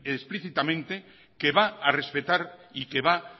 explícitamente que va a respetar y que va